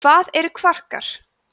hvað eru kvarkar